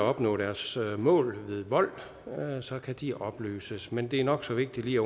opnå deres mål ved vold så kan de opløses men det er nok så vigtigt lige